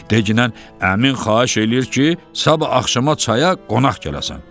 Degiən əmin xahiş eləyir ki, sabah axşama çaya qonaq gələsən.